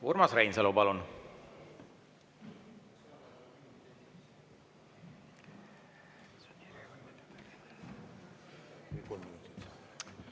Urmas Reinsalu, palun!